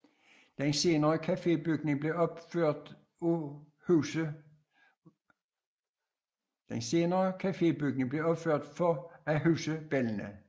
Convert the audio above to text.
Den senere kafébygning blev opført for at huse børnene